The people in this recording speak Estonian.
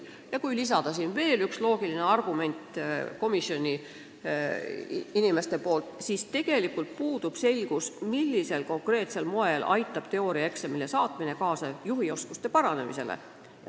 Komisjoni liikmed käisid välja loogilise argumendi, et tegelikult pole selge, millisel konkreetsel moel aitab teooriaeksamile saatmine kaasa juhioskuste paranemisele.